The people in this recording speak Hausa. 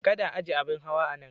Kada a aje abin hawa a nan.